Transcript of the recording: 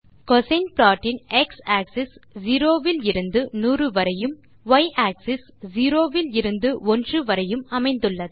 கோசின் plot இன் x axis 0 இலிருந்து 100 வரையும் y ஆக்ஸிஸ் 0 இலிருந்து 1 வரையும் அமைந்துள்ளது